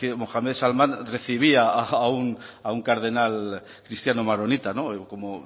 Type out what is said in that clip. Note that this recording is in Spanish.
mohamed salmán recibía a un cardenal cristiano maronita como